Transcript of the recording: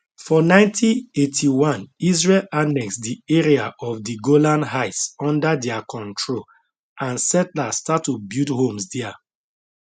for 1981 israel annex di area of di golan heights under dia control and settlers start to build homes dia